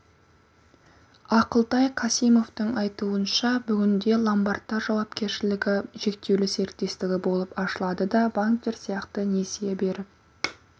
ақылтай касимовтың айтуынша бүгінде ломбардтар жауапкершілігі шектеулі серіктестігі болып ашылады да банктер сияқты несие беріп